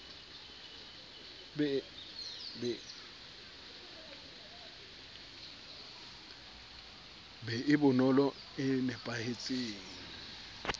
be e bonolo e napahetseng